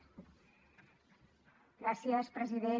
gràcies president